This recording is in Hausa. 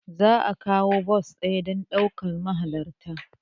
Za a kawo bas ɗaya don ɗaukar mahalarta.